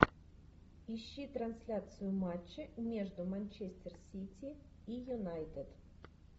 ищи трансляцию матча между манчестер сити и юнайтед